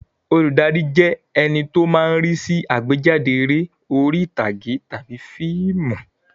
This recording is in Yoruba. Olùdarí jẹ́ ẹní tó máa ń rí sí àgbéjáde eré orí ìtàgé tàbí fíìmù